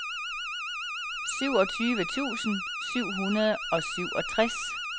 syvogtyve tusind syv hundrede og syvogtres